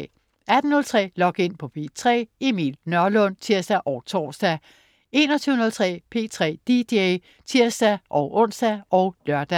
18.03 Log In på P3. Emil Nørlund (tirs og tors) 21.03 P3 dj (tirs-ons og lør)